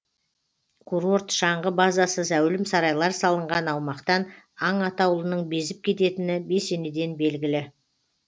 курорт шаңғы базасы зәулім сарайлар салынған аумақтан аң атаулының безіп кететіні бесенеден белгілі